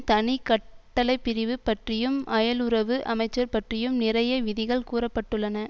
தனி கட் டளைப்பிரிவு பற்றியும் அயலுறவு அமைச்சர் பற்றியும் நிறைய விதிகள் கூற பட்டுள்ளன